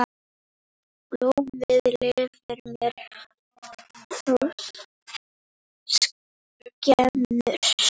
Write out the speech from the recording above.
Blómið lifir mér þó skemur.